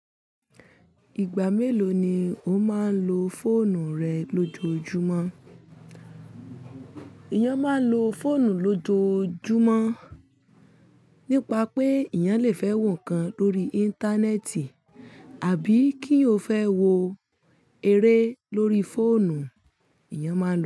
Ìgbà mélòó ni o máa ń lo fóònù rẹ lójoojúmọ́? Ìyan máa ń lo fóònù lójoojúmọ́ nípa pé ìyan lè fẹ́ wò ń kan lórí Íńtánẹ́ẹ̀tì àbí kí o fẹ́ wo eré lórí fóònù, ìyan máa lò ó.